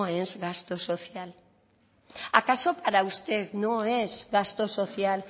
es gasto social acaso para usted no es gasto social